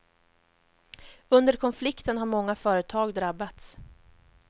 Under konflikten har många företag drabbats.